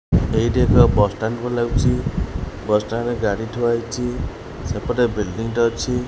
ଏଇଟି ଏକ bus stand ପରି ଲାଗୁଛି ବସ୍ ଷ୍ଟାଣ୍ଡ ରେ ଗାଡ଼ି ଥୁଆ ହେଇଛି ସେପଟେ ବିଲଡିଂ ଟେ ଅଛି।